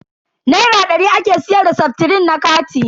Naira dari ake siyar da seftrin na kati.